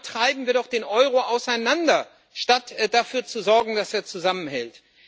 Damit treiben wir doch den Euro auseinander statt dafür zu sorgen, dass er zusammenhält.